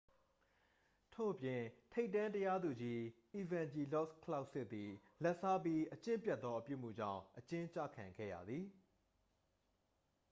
ထို့အပြင် ထိပ်တန်း တရားသူကြီး အီဗန်ဂျီလော့စ် ကလောက်စစ်သည် လာဘ်စားပြီး အကျင့်ပျက်သော အပြုအမူကြောင့် အကျဉ်းကျခံခဲ့ရသည်